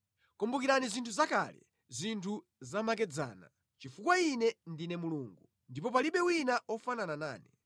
Kumbukirani zinthu zakale zinthu zamakedzana; chifukwa Ine ndine Mulungu ndipo palibe wina ofanana nane.